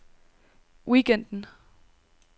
weekenden